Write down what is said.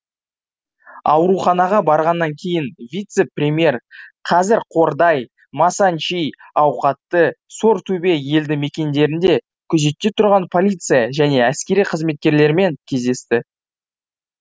ауруханаға барғаннан кейін вице премьер қазір қордай масанчи ауқатты сортөбе елді мекендерінде күзетте тұрған полиция және әскери қызметкерлермен кездесті